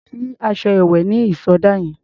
O lè sí aṣọ ìwẹ̀ ní ìsọdá yẹn.